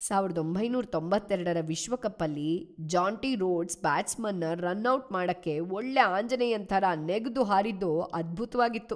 ಸಾವಿರದ ಒಂಭೈನೂರ ತ್ತೊಂಭತ್ತೇರಡರ ವಿಶ್ವಕಪ್ಪಲ್ಲಿ ಜಾಂಟಿ ರೋಡ್ಸ್ ಬ್ಯಾಟ್ಸ್ಮನ್ನ ರನ್ ಔಟ್ ಮಾಡಕ್ಕೆ ಒಳ್ಳೆ ಆಂಜನೇಯನ್‌ ಥರ ನೆಗ್ದು ಹಾರಿದ್ದು ಅದ್ಭುತ್ವಾಗಿತ್ತು.